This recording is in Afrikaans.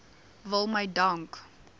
wil my dank